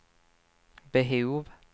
behov